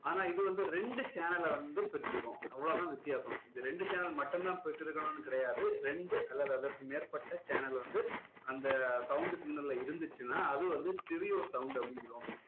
ஆனா இது வந்து ரெண்டு channel ல வந்து பெற்றிருக்கும் அவ்ளோ தான் வித்தியாசம் இது ரெண்டு channel மட்டும் தான் பெற்றிருக்கணும்னு கிடையாது ரெண்டு அல்லது அதற்கு மேற்பட்ட channel வந்து அந்த sound signal ல இருந்துச்சுனா அது வந்து stereo sound அப்படின்னு சொல்லுவோம்